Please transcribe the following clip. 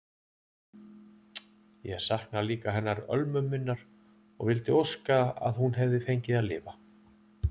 Ég sakna líka hennar Ölmu minnar og vildi óska að hún hefði fengið að lifa.